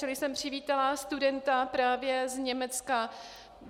Čili jsem přivítala studenta právě z Německa.